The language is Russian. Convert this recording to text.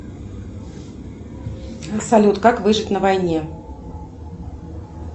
салют как выжить на войне